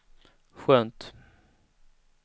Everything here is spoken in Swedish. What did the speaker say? skönt